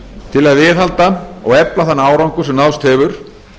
til að viðhalda og efla þann árangur sem náðst hefur